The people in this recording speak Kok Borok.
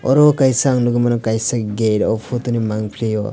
oro kaisa ang nugui mano kaisa gate o photo ni mangpili o.